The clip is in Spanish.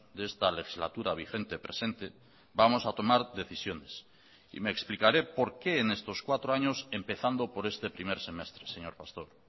de esta legislatura vigente presente vamos a tomar decisiones y me explicaré por qué en estos cuatro años empezando por este primer semestre señor pastor